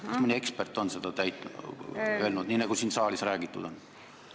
Kas mõni ekspert on seda öelnud, nii nagu siin saalis räägitud on?